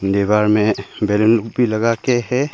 दीवार में बलून भी लगा के है।